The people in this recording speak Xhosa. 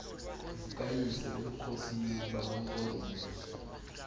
zikayise ebukhosini bamampondomise